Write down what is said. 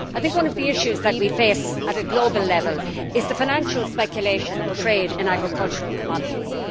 One of the issues that we face at a global level is the financial speculation and trade in agricultural commodities.